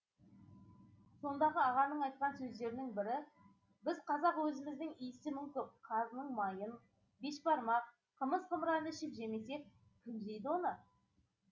сондағы ағаның айтқан сөздерінің бірі біз қазақ өзіміздің иісі мүңкіп қазының майын бешбармақ қымыз қымыранды ішіп жемесек кім жейді оны